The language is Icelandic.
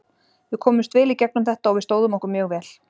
Við komumst vel í gegnum þetta og við stóðum okkur mjög vel.